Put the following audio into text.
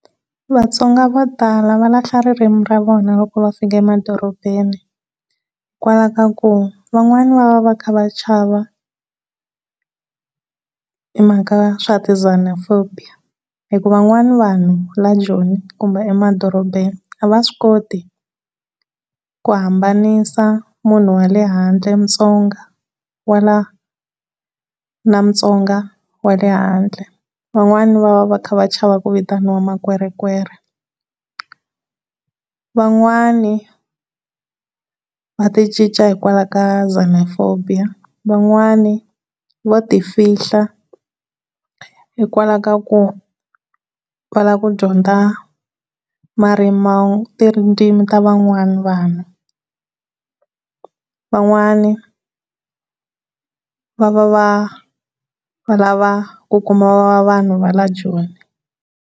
Vatsonga vo tala va lahla ririmi ra vona loko va fika emadorobeni hikwalaho ka ku van'wani va va va kha va chava hi mhaka ya swa ti Xenophobia hi ku van'wana vanhu la Joni kumbe emadorobeni a va swi koti ku hambanisa munhu wale handle, Mutsonga wa la na Mutsonga wa le handle van'wani va va va chava ku vitana makwerekwere van'wani, va n'wani va ti cinca hikwalaho ka Xenophobia, van'wana vo ti fihla hikwalaho ka ku lava ku dyondza marimi, tindzimi ta van'wana vanhu, va n'wana va va va lava ku kuma vanhu va la Joni.